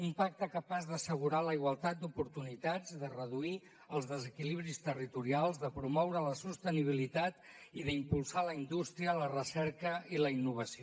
un pacte capaç d’assegurar la igualtat d’oportunitats de reduir els desequilibris territorials de promoure la sostenibilitat i d’impulsar la indústria la recerca i la innovació